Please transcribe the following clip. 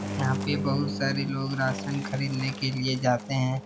यहाँ पे बहुत सारे लोग राशन खरीदने के लिए जाते हैं।